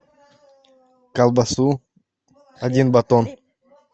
колбасу один батон